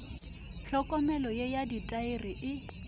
hlokomelo ye ya ditaere e